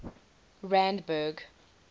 randburg